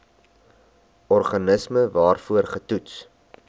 organisme waarvoor getoets